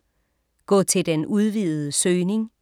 Gå til den udvidede søgning